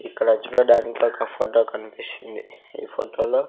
ఇక్కడ చూడడానికి ఒక ఫోటో కనిపిస్తుంది ఈ ఫోటో లో --